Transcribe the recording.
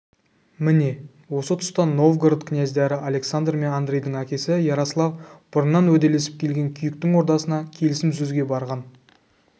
міне осы тұста новгород князьдары александр мен андрейдің әкесі ярослав бұрыннан уәделесіп келген күйіктің ордасына келісім сөзге барған